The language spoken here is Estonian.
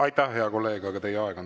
Aitäh, hea kolleeg, aga teie aeg on läbi.